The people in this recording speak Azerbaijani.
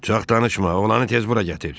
Çox danışma, olanı tez bura gətir.